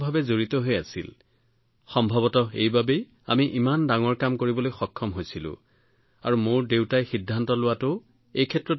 সম্ভৱতঃ আমি সেই চিন্তাধাৰাৰ কথা মনত ৰাখি ইমান ডাঙৰ কাম কৰিবলৈ সক্ষম হৈছিলোঁ আৰু এই বিষয়টো সন্দৰ্ভত মোৰ দেউতাই লোৱা সিদ্ধান্তৰ বাবে এইটো সম্ভৱ হৈ পৰিছিল